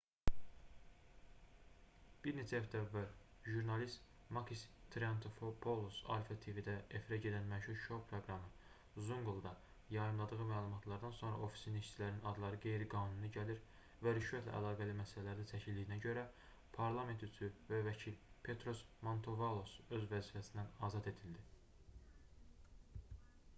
bir neçə həftə əvvəl jurnalist makis triantafylopoulos alpha tv-də efirə gedən məşhur şou proqramı zoungla"da yayımladığı məlumatlardan sonra ofisinin işçilərinin adları qeyri-qanuni gəlir və rüşvətlə əlaqəli məsələlərdə çəkildiyinə görə parlament üzvü və vəkil petros mantouvalos öz vəzifəsindən azad edildi